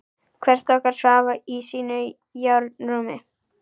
Hvert okkar svaf í sínu járnrúmi.